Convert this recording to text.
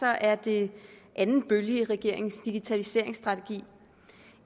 er det anden bølge i regeringens digitaliseringsstrategi